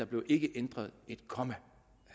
blev ændret et komma